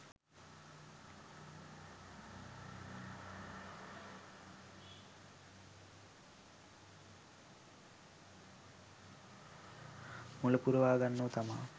මලු පුරවාගන්නෝ තමා.